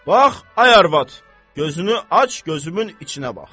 Bax, ay arvad, gözünü aç gözümün içinə bax.